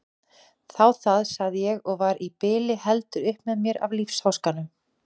Þá það, sagði ég og var í bili heldur upp með mér af lífsháskanum.